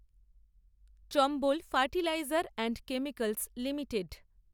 Chambal fertiliser and chemicals limited